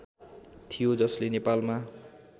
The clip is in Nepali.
थियो जसले नेपालमा